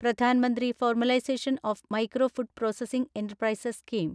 Pradhan Mantri formalisation of micro food processing enterprises scheme